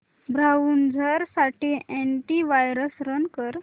browser साठी antivirus run कर